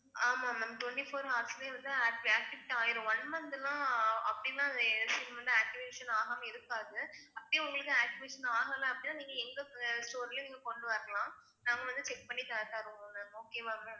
ஆமா ma'am twenty four hours லயே வந்து act~ activate ஆயிரும் one month னா அப்படிலாம் SIM வந்து activation ஆகாம இருக்காது அப்படியே உங்களுக்கு activation ஆகல அப்டினா நீங்க எங்க store லயே கொண்டு வரலாம் நாங்க வந்து check பண்ணி த~ தருவோம் ma'am okay வா ma'am